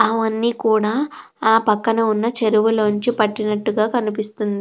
అవన్నీ కూడా ఆ పక్కన ఉన్న చేరువులోంచి పట్టినట్టుగా కనిపిస్తోంది.